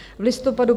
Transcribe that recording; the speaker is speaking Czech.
V listopadu